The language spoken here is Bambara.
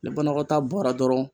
Ni banakɔtaa bɔra dɔrɔn